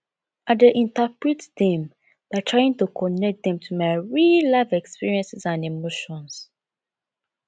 i dey interpret dem by trying to connect dem to my reallife experiences and emotions